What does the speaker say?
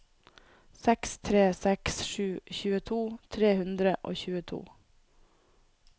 seks tre seks sju tjueto tre hundre og tjueto